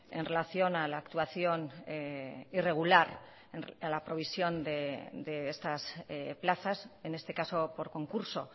en relación a la actuación irregular a la provisión de estas plazas en este caso por concurso